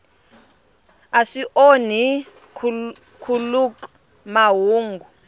a swi onhi nkhuluk mahungu